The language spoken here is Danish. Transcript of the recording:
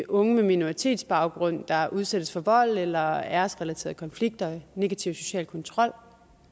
unge med minoritetsbaggrund der udsættes for vold eller æresrelaterede konflikter negativ social kontrol